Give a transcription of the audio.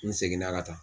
N seginna ka taa